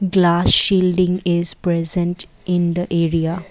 glass shielding is present in the area.